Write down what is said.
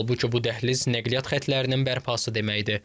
Halbuki bu dəhliz nəqliyyat xətlərinin bərpası deməkdir.